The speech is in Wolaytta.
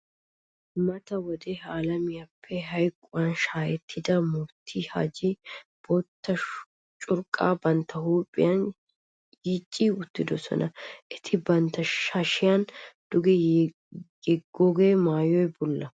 Mata wode ha alamiyappe hayquwan shaahettida Mufttii Haji bootta curqqaa bantta huuphiyan yiici uttidosona. Eti bantta hashiyara duge yeggido maayoy bulla.